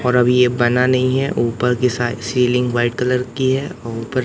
और अभी ये बना नहीं है ऊपर की साइ सीलिंग व्हाइट कलर की है और ऊपर --